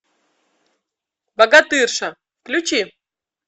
богатырша включи